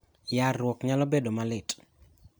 Yarruok nyalo bedpo malit.